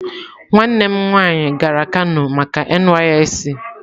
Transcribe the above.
Nwannem nwaanyi gara kano maka NYSC